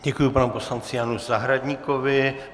Děkuji panu poslanci Janu Zahradníkovi.